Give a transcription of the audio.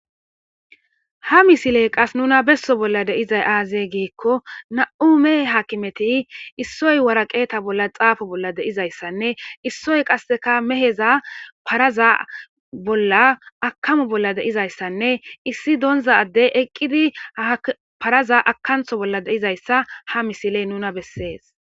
Ha missiley qasi nuna besso bolla dizay aze gikko nam'u mehe akkimeti issoyi wareqqta bolla xaffo bolla de'izayssanne issoyi qasekka meheza paraza bolla akkamo bollards dizzayissanne issi donzza addeyi eqqidi parraza akkanththo bolla dizayisa ha missileyi nuna besses.